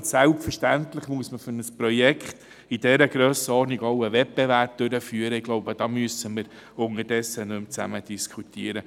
Und selbstverständlich muss man für ein Projekt dieser Grösse einen Wettbewerb durchführen, darüber müssen wir unterdessen nicht mehr diskutieren.